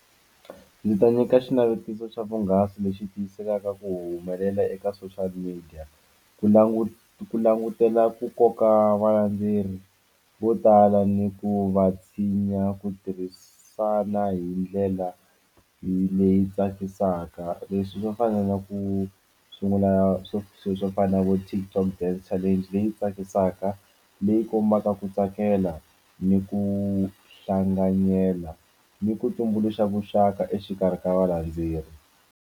Ndzi ta nyika xinavetiso xa vuhungasi lexi tiyisekaka ku humelela eka social media ku languta ku langutela ku koka valandzeri vo tala ni ku va tshinya ku tirhisana hi ndlela leyi tsakisaka leswi swo fana na ku sungula swo swilo swo fana na vo Tik Tok dance challenge leyi tsakisaka leyi kombaka ku tsakela ni ku hlanganyela ni ku tumbuluxa vuxaka exikarhi ka va landzeri.